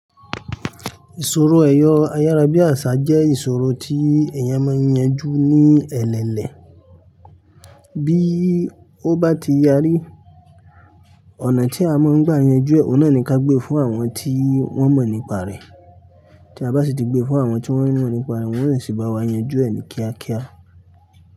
Ìṣòro ẹ̀rọ ayárábi àṣá jẹ́ ìṣòro tí èèyàn máa ń yanjú ní ẹlẹlẹ. Bí ó bá ti yarí rí, ọ̀nà tí a máa ń gbà yanjú ẹ, òun náà ni kí a gbé fún àwọn tí wọ́n mọ̀ nípa rẹ̀. Tí a bá sì ti gbé fún àwọn tí wọ́n mọ̀ nípa rẹ̀, wọ́n yóò sì bá wa yanjú ẹ ni kíákíá.